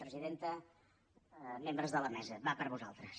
presidenta membres de la mesa va per vosaltres